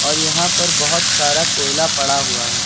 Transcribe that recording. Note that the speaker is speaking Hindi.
और यहां पर बहोत सारा कोयला पड़ा हुआ है।